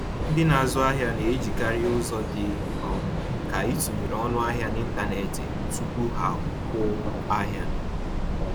Ndị na-azụ ahịa na-ejikarị ụzọ dị um ka ịtụnyere ọnụ ahịa n’ịntanetị tupu ha akwụ ahịa